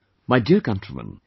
My Dear Countrymen,